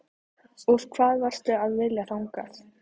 Og hvað varstu að vilja þangað?